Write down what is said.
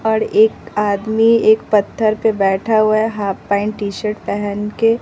और एक आदमी एक पत्थर पे बैठा हुआ है हाफ पैंट टी शर्ट पहन के।